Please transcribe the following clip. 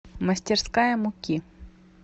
мастерская муки